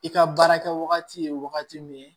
I ka baara kɛ wagati ye wagati min